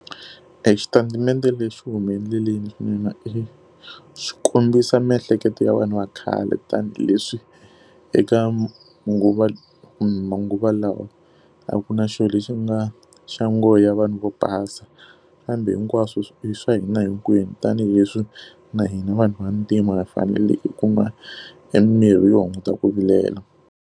Exitatimende lexi xi hume endleleni swinene swi kombisa miehleketo ya vanhu va khale tanihileswi eka manguva lawa a ku na xilo lexi nga xa nghohe ya vanhu vo basa. Kambe hinkwaswo i swa hina hinkwenu tanihileswi na hina vanhu vantima va faneleke ku kuma emimirhi yo hunguta ku vilela.